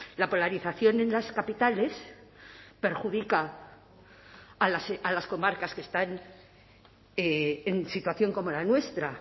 la polarización en las capitales perjudica a las comarcas que están en situación como la nuestra